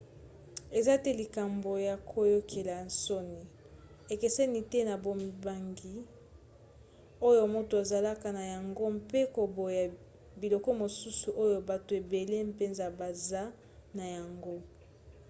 eza te likambo ya koyokela soni: ekeseni te na bobangi oyo moto azalaka na yango mpe koboya biloko mosusu oyo bato ebele mpenza baza na yango